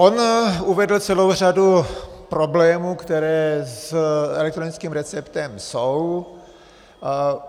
On uvedl celou řadu problémů, které s elektronickým receptem jsou.